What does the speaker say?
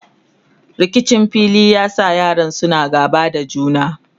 rikicin filin ya sa yaran suna gaba da juna